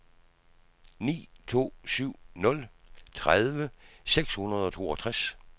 ni to syv nul tredive seks hundrede og toogtres